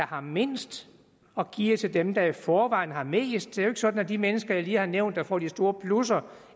har mindst og giver til dem der i forvejen har mest det er jo ikke sådan at de mennesker jeg lige har nævnt der får de store plusser